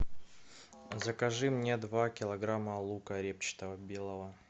закажи мне два килограмма лука репчатого белого